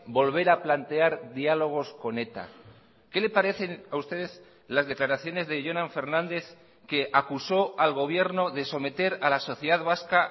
volver a plantear diálogos con eta qué le parecen a usted las declaraciones de jonan fernández que acusó al gobierno de someter a la sociedad vasca